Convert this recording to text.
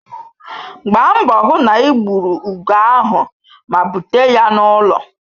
Gbaa mbọ hụ na ị gbuo ugo ahụ ma bute ya n'ụlọ